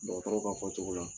dɔgɔtɔrɔw ka fɔcogo la